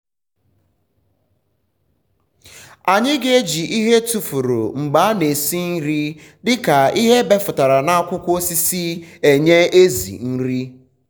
anyị n’eji ịhe etufuru mgbe ana esi nri dịka ịhe ebefụtara na akwụkwọ osisi enye um ểzỉ nri